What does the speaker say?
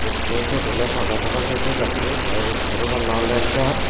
ikko siyot oley pada tada ney sey gassot tey ibot sero palla oley jar.